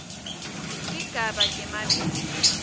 tigaba temabito